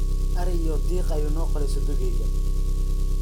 Ari iyo diiqii ayuu noo qalay sodogeyga